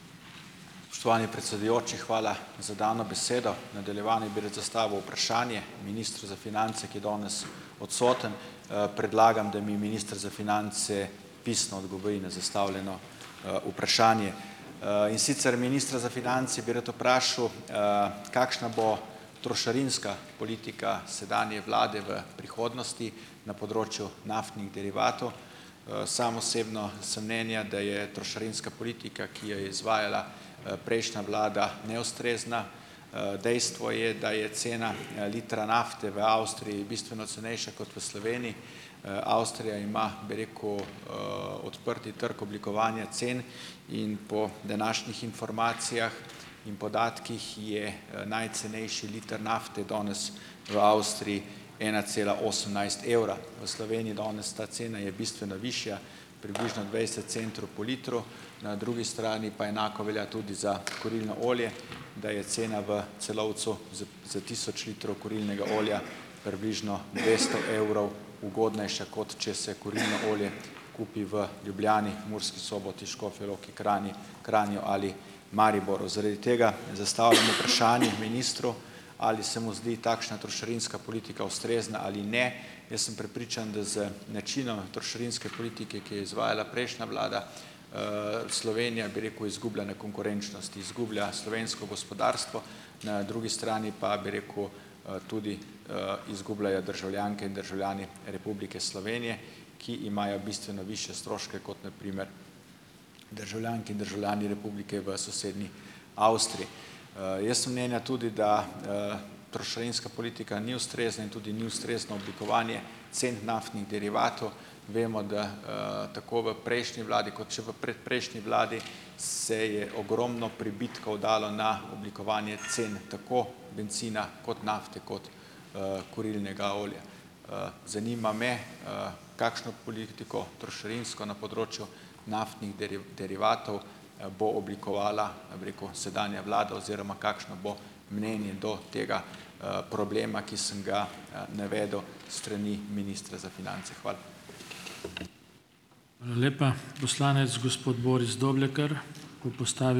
Spoštovani predsedujoči, hvala za dano besedo. V nadaljevanju bi rad zastavil vprašanje ministru za finance, ki je danes odsoten. Predlagam, da mi minister za finance pisno odgovori na zastavljeno vprašanje. In sicer, ministra za finance bi rad vprašal, kakšna bo trošarinska politika sedanje vlade v prihodnosti na področju naftnih derivatov. Sam osebno sem mnenja, da je trošarinska politika, ki jo je izvajala prejšnja vlada, neustrezna. Dejstvo je, da je cena litra nafte v Avstriji bistveno cenejša kot v Sloveniji. Avstrija ima, bi rekel, odprti trg oblikovanja cen. In po današnjih informacijah in podatkih je najcenejši liter nafte danes v Avstriji ena cela osemnajst evra. V Sloveniji danes ta cena je bistveno višja, približno dvajset centru po litru. Na drugi strani pa enako velja tudi za kurilno olje, da je cena v Celovcu za za tisoč litrov kurilnega olja približno dvesto evrov ugodnejša, kot če se kurilno olje kupi v Ljubljani, Murski Soboti, Škofji Loki, Kranji Kranju ali Mariboru. Zaradi tega zastavljam vprašanje ministru, ali se mu zdi takšna trošarinska politika ustrezna ali ne. Jaz sem prepričan, da z načinom trošarinske politike, ki je izvajala prejšnja vlada, Slovenija, bi rekel, izgublja na konkurenčnosti, izgublja slovensko gospodarstvo. Na drugi strani pa bi rekel, tudi izgubljajo državljanke in državljani Republike Slovenije, ki imajo bistveno višje stroške kot na primer državljanke in državljani republike v sosednji Avstriji. Jaz sem mnenja tudi, da trošarinska politika ni ustrezna in tudi ni ustrezno oblikovanje cen naftnih derivatov. Vemo, da tako v prejšnji vladi kot še v predprejšnji vladi se je ogromno pribitkov dalo na oblikovanje cen, tako bencina kot nafte kot kurilnega olja. Zanima me, kakšno politiko trošarinsko na področju naftnih derivatov bo oblikovala, bi rekel, sedanja vlada oziroma kakšno bo mnenje do tega problema, ki sem ga navedel s strani ministra za finance. Hvala.